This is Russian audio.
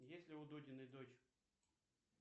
есть ли у дудиной дочь